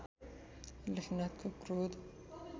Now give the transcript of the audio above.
लेखनाथको क्रोध